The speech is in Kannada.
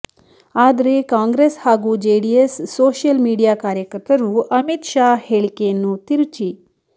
ಆದರೆ ಕಾಂಗ್ರೆಸ್ ಹಾಗು ಜೆಡಿಎಸ್ ಸೋಶಿಯಲ್ ಮೀಡಿಯಾ ಕಾರ್ಯಕರ್ತರು ಅಮಿತ್ ಶಾಹ್ ಹೇಳಿಕೆಯನ್ನು ತಿರುಚಿ